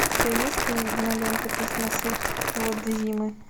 у тебя есть кинолента письма с иводзимы